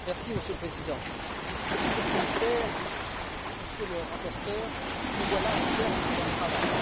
Monsieur le Président, Monsieur le Commissaire, Monsieur le rapporteur, nous voilà au terme d'un travail.